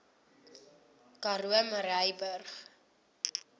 karoo murrayburg